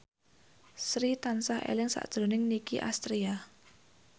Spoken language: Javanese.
Sri tansah eling sakjroning Nicky Astria